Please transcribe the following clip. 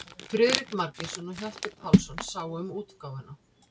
Friðrik Margeirsson og Hjalti Pálsson sáu um útgáfuna.